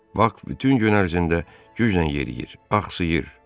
Bak bütün gün ərzində güclə yeriyir, axsıyır.